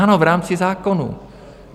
Ano, v rámci zákonů.